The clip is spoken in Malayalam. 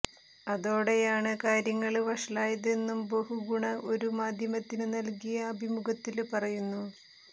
അതോടെയാണ് കാര്യങ്ങള് വഷളായതെന്നും ബഹുഗുണ ഒരു മാധ്യമത്തിന് നല്കിയ അഭിമുഖത്തില് പറയുന്നു